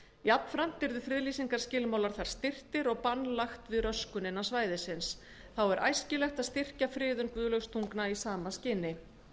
jafnframt yrðu friðlýsingarskilmálar þar styrktir og bann lagt við röskun innan svæðisins þá er æskilegt að styrkja friðun guðlaugstungna í sama skyni